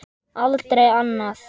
Aldrei annað.